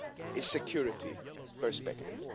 a security perspective.